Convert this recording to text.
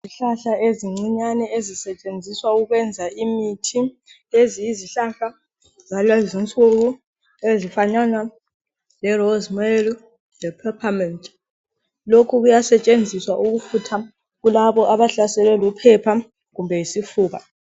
Izihlahla ezincinyane ezisetshenziswa ukwenza imithi lezi yizihlahla zalezinsuku ezifanana le rosemary le peppermint lokhu kuyasetshenziswa ukufutha kulabo abahlaselwe luphepha kumbe yisifuba.